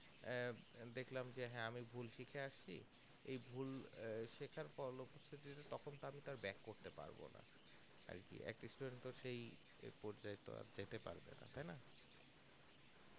আহ দেখলাম কি ভুল শিখে আসছি এই ভুল আহ শেখার পর পড়তে পারবো না আরকি student তো সেই এক পর্যায়ে তো বাড়তে পারবে না তাইনা